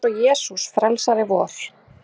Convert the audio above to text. Eins og Jesús frelsari vor.